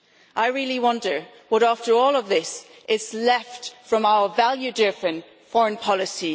I really wonder what after all of this is left from our value driven EU foreign policy.